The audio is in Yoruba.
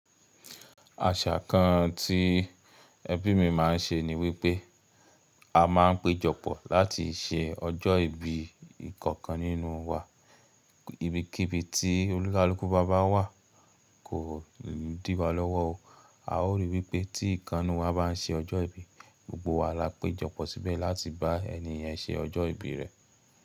Àṣà kan tí ẹbí mi má ń ṣe ni wípé a má ń péjọpọ̀ láti ṣe ọjọ́ ìbí ìkankan nínú wa. Ibikíbi tí olúkalúkú bá wà kò di wa lọ́wọ́ o. A ó rí wípé tí ìkanu wa bá ń ṣe ọjọ́ ìbí, gbogbo wa la péjọpọ̀ síbẹ̀ láti bá ẹni yẹn ṣe ọjọ́ ìbí rẹ̀.